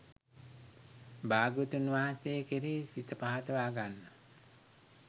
භාග්‍යවතුන් වහන්සේ කෙරෙහි සිත පහදවා ගන්න